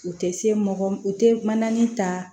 U tɛ se mɔgɔ u tɛ mananani ta